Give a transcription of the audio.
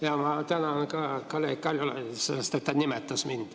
Ja ma tänan ka kolleeg Kaljulaidi, sest ta nimetas mind.